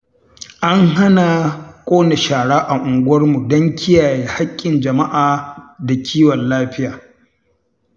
An hana ƙona shara a unguwarmu don kiyaye haƙƙin jama'a da kiwon lafiya.